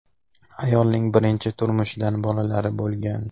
Ayolning birinchi turmushidan bolalari bo‘lgan.